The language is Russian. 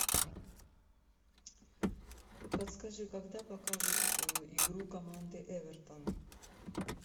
подскажи когда покажут игру команды эвертон